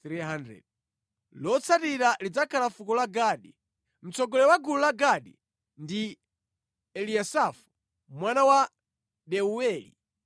Lotsatira lidzakhala fuko la Gadi. Mtsogoleri wa gulu la Gadi ndi Eliyasafu mwana wa Deuweli.